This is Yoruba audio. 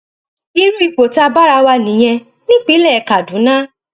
irú ipò tá a bára wa nìyẹn nípínlẹ kaduna